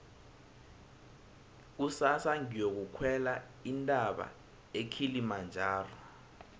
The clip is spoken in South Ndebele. kusasa ngiyokukhwela intaba ekilimajaro